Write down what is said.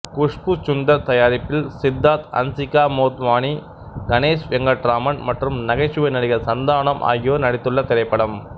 குஷ்பூ சுந்தர் தயாரிப்பில் சித்தார்த் ஹன்சிகா மோத்வானிகணேஷ் வெங்கட்ராமன் மற்றும் நகைச்சுவை நடிகர் சந்தானம் ஆகியோர் நடித்துள்ள திரைப்படம்